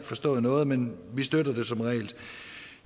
forstået noget men man støtter det som regel